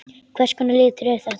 Hvers konar litur er þetta?